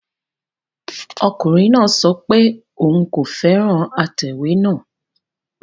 Ọkùnrin náà sọ pé òun kò fẹ́ràn atẹ̀wé náà